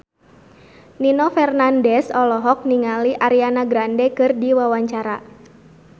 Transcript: Nino Fernandez olohok ningali Ariana Grande keur diwawancara